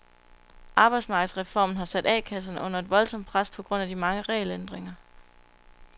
Arbejdsmarkedsreformen har sat A kasserne under et voldsomt pres på grund af de mange regelændringer.